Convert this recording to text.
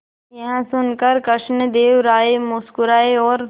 यह सुनकर कृष्णदेव राय मुस्कुराए और